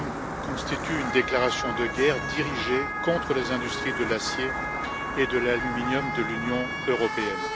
Trump constitue une déclaration de guerre dirigée contre les industries de l'acier et de l'aluminium de l'Union européenne.